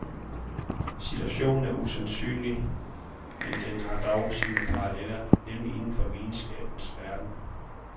Situationen er usandsynlig, men den har dog sine paralleller, nemlig inden for videnskabens verden.